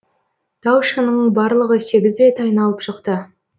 тау шыңын барлығы сегіз рет айналып шықты